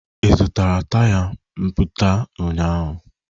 Ị zụtara taya mapụta ụnyaahụ?